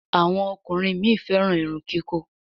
Àwọn ọkùnrin mí féràn Irun kikọ.